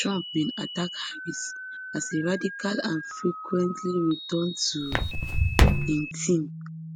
trump bin attack harris as a radical and frequently return to im theme